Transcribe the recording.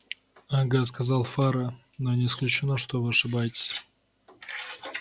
ага сказал фара но не исключено что вы ошибаетесь